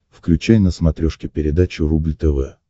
включай на смотрешке передачу рубль тв